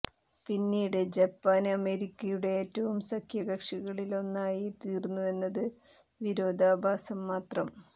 പിന്നീട് ജപ്പാന് അമേരിക്കയുടെ ഏറ്റവും സഖ്യകക്ഷികളിലൊന്നായി തീര്ന്നു എന്നത് വിരോധാഭാസം മാത്രം